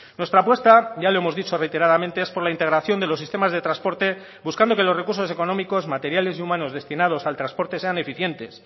nuestra apuesta ya lo hemos dicho reiteradamente es por la integración de los sistemas de transporte buscando que los recursos económicos materiales y humanos destinados al transporte sean eficientes